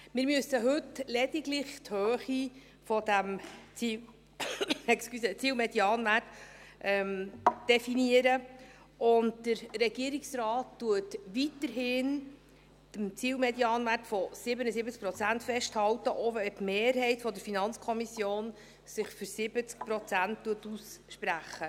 Wir müssen heute lediglich die Höhe dieses Zielmedianwerts definieren, und der Regierungsrat hält weiterhin am Zielmedianwert von 77 Prozent fest, auch wenn sich die Mehrheit der FiKo für 70 Prozent ausspricht.